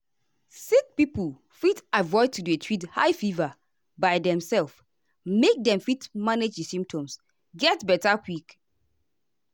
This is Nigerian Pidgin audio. sick pipo fit avoid to dey treat high fever by demself make dem fit manage di symptoms get beta quick.